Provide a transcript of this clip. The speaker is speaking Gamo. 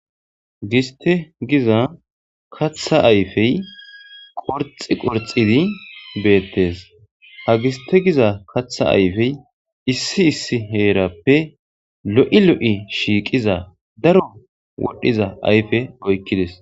giste giza katha ayfey qorxi qorxidi beettes ha giste giza katha ayfey issi issi heerappe lo'i lo'i shiiqiza daro wodhiza ayfe oykkides